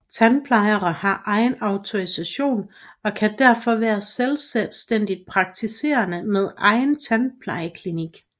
Tandplejere har egen autorisation og kan derfor være selvstændigt praktiserende med egen tandplejeklinik